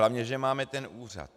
Hlavně že máme ten úřad.